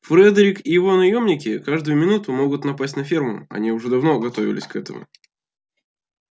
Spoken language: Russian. фредерик и его наёмники каждую минуту могут напасть на ферму они уже давно готовились к этому